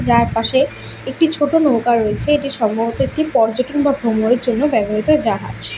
যার পাশে একটি ছোট নৌকা রয়েছে এটি সম্ভবত একটি পর্যটন বা ভ্রমণের জন্য ব্যবহৃত জাহাজ।